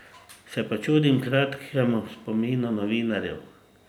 Se pa čudim kratkemu spominu novinarjev.